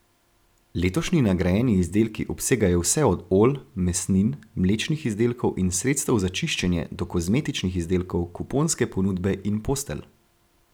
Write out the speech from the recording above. Letošnji nagrajeni izdelki obsegajo vse od olj, mesnin, mlečnih izdelkov in sredstev za čiščenje do kozmetičnih izdelkov, kuponske ponudbe in postelj.